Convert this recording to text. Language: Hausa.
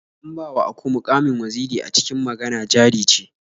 An bawa aku muƙamin waziri a cikin Magana Jari Ce.